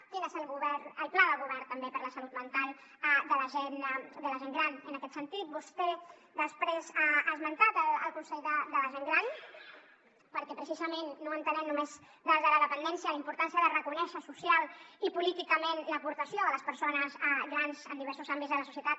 quin és el pla del govern també per a la salut mental de la gent gran en aquest sentit vostè després ha esmentat el consell de la gent gran perquè precisament no l’entenem només des de la dependència la importància de reconèixer socialment i políticament l’aportació de les persones grans en diversos àmbits de la societat